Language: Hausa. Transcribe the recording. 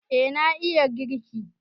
Eh na iya girki